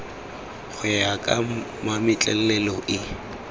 go ya ka mametlelelo e